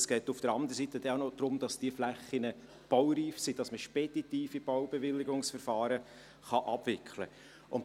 auf der anderen Seite geht es auch noch darum, dass diese Flächen baureif sind, damit man speditive Baubewilligungsverfahren abwickeln kann.